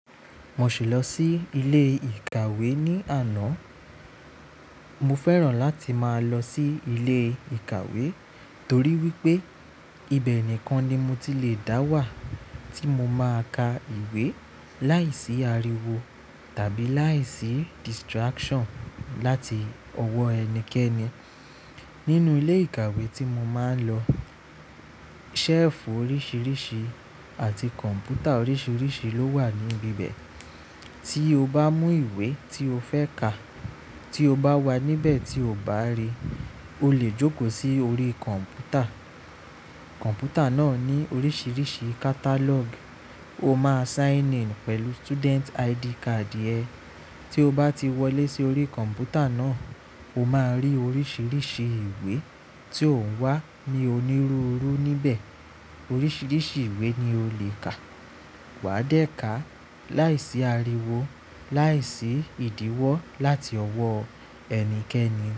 Mo sì lọ sí ilé ìkàwé ní àná. Mo fẹ́ràn láti máa lọ sí ilé ìkàwé torí wípé ibẹ̀ nìkan ni mo ti le dá wà tí mo máa ka ìwé láìsí ariwo tàbí láìsí distraction láti ọwọ́ ẹnikẹ́ni. Nínú ilé ìkàwé tí mo máa ń lọ, shelf oríṣiríṣi àti kọ̀m̀pútà oríṣiríṣi ló wà níbi bẹ́ẹ̀. Tí o bá mú ìwé tí o fẹ́ kà, tí o bá wà níbẹ̀ tí o bá rí, o lè jókòó sí orí kọ̀m̀pútà. Kọ̀m̀pútà náà ní oríṣiríṣi catalogue. O máa sign in pẹ̀lú student ID card ẹ. Tí o bá ti wọlé sí orí kọ̀m̀pútà náà, o máa rí oríṣiríṣi ìwé tí ó ń wà ní onírúurú níbẹ̀. Oríṣiríṣi ìwé ni o lè kà. Wà á dẹ̀ ká láìsí ariwo, láìsí ìdíwọ́ láti ọwọ́ ẹnikẹ́ni.